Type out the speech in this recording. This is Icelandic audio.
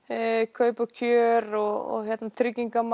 kaup og kjör og tryggingar